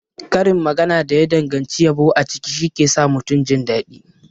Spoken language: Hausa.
Karin magana da ya danganci yabo a ciki shike sa mutum jindaɗi.